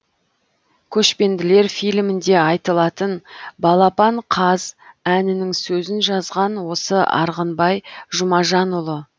көшпенділер фильмінде айтылатын балапан қаз әнінің сөзін жазған осы арғынбай жұмажанұлы